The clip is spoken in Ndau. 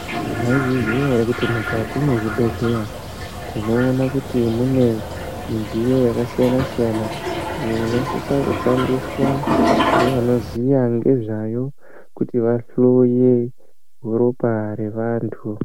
Maizviziya ere kuti mukati mezvibhedhleya tinoona kuti mune midziyo yakasiyana-siyana iyo inosisa kushandiswa ngevanoziya ngezvayo kuti vahloye ropa revantu.